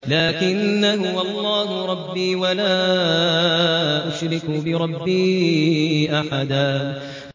لَّٰكِنَّا هُوَ اللَّهُ رَبِّي وَلَا أُشْرِكُ بِرَبِّي أَحَدًا